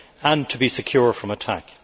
and to be secure from attack.